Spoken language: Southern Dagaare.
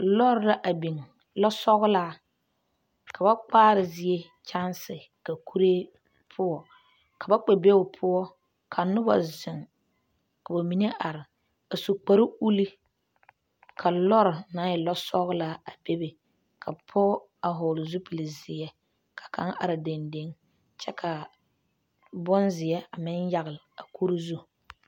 Lɔre la a biŋ lɔsɔgelaa ka ba kpaara zie kyaansi ka kuree poɔ ka ba kpɛ be o poɔ ka noba zeŋ ka bamine are a su kpare uli ka lɔre naŋ e lɔsɔgelaa a bebe ka pɔge a hɔɔle zupili zeɛ ka kaŋa are dendeŋe kyɛ ka bonzeɛ a meŋ yagele a kuri zu.